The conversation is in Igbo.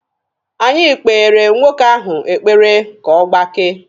Anyị kpeere nwoke ahụ ekpere ka ọ gbakee.